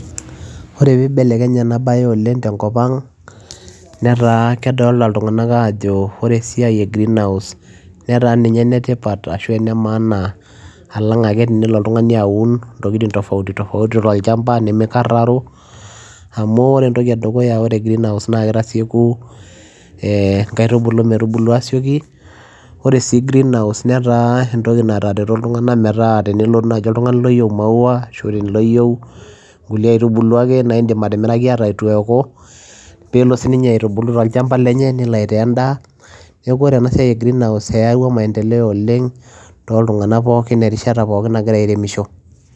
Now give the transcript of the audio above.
Ore peyiee ibelekenye enaa bayee oleng te nkop ang neetaa kedolita ilntunganak ajoo Ore esiai ee greenhouse netaa ninye ene tipat ashua enee maana along ake teneloo oltunganii aauni intokitin tafaouti nimkararo amuu Ore greenhouse naa kitasiekui inaitubulu netaretoo si ilntunganak metaa tenelotu oltunganii oyieu imau ashuu inkulie aaitubulu ake naa idim atimirakii ata ituu eekuu peyiee eloo aaitaa enda neekuu ene tipat oleng